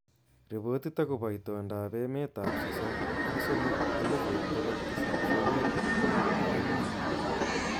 Ripotit akobo itondoab emet ab sosom ak somok elifut bokol tisab sabin ak anwan